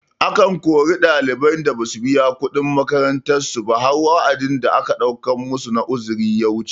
Akan kori ɗaliban da basu biya kuɗin makarantar su ba har wa'adin da aka ɗaukan masu na uzuri ya wuce